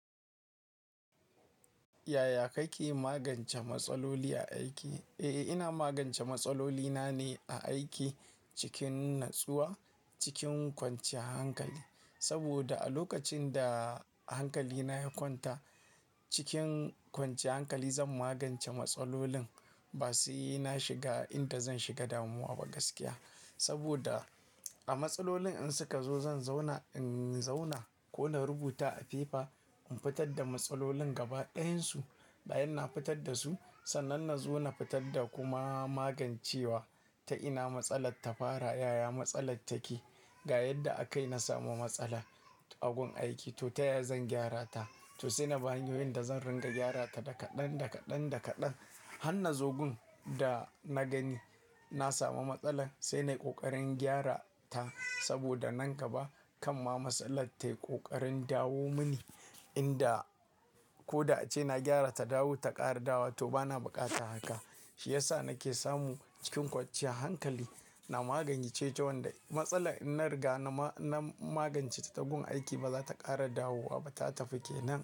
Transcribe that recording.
Yaya kake magance matsaloli a aiki? Eh, ina magance matsalolina ne a aiki cikin natsuwa, cikin kwanciyar hankali. Saboda a lokacin da hankalina ya kwanta, cikin kwanciyar hankali zan magance matsalolin. Ba sena shiga inda zan shiga damuwa ba gaskiya. Saboda a matsalolin in suka zo, zan zauna, in zauna ko na rubuta a fefa in fitar da matsalolin gaba ɗayansu. Bayan na fitar da su, sannan na zo na fitar da kuma magancewa ta ina matsalar ta fara, yaya matsalar take, ga yadda aka yi na samu matsala a gun aiki to ta yaya zan gyara ta, to sai nabi hanyoyin da zan ringa gyara ta daga ɗan daga ɗan daga ɗan. Hanna zogun da na gani na samu matsalar sai na yi ƙoƙarin gyara ta. Saboda nan gaba kan ma matsalar ta yi ƙoƙarin dawo mini inda ko da ace na gyara ta, dawo ta ƙara dawowa to bana buƙata haka. Shi ya sa na ke samu cikin kwanciya hankali na magance wanda matsala in na riga na magance ta a gun aiki ba za ta ƙara dawowa ba ta tafi kenan.